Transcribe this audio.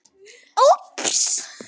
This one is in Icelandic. Grímúlfur, hvað er að frétta?